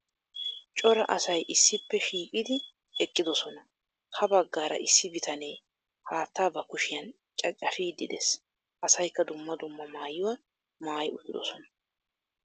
Cora asay issippe shiiqqidi eqqiddossona. Ha baggaara issi bitanee haattaa ba kushiyan caccafiidi de'ees. Asaykka dumma dumma maayuwa maayi uttiddossona.